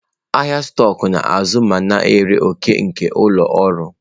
Ahịa stọkụ na-azụ ma na-ere òkè nke ụlọ ọrụ.